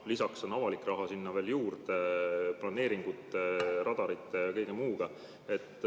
Lisaks tuleb sinna veel juurde avalik raha planeeringute, radarite ja kõige muuga.